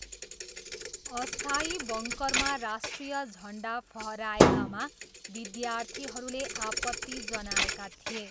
अस्थायी बङ्करमा राष्ट्रिय झन्डा फहराएकामा विद्यार्थीहरूले आपत्ति जनाएका थिए।